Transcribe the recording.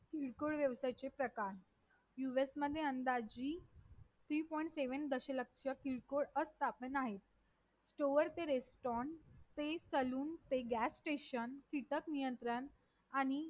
किरकोळ व्यवसायाचे प्रकार U S मध्ये अंदाजी three point seven दशलक्ष किरकोळ आस्थापने आहेत stoaur ते restaurant ते salon ते gas station कीटक नियंत्रण आणि